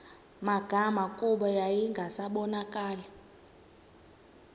magama kuba yayingasabonakali